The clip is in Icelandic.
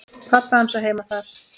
Pabbi hans á heima þar.